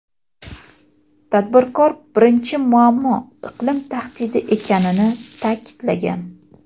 Tadbirkor birinchi muammo iqlim tahdidi ekanini ta’kidlagan.